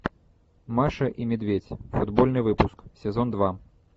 маша и медведь футбольный выпуск сезон два